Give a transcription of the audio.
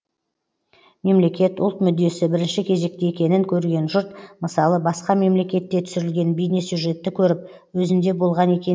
мемлекет ұлт мүддесі бірінші кезекте екенін көрген жұрт мысалы басқа мемлекетте түсірілген бейнесюжетті көріп өзінде болған екен